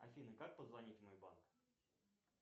афина как позвонить в мой банк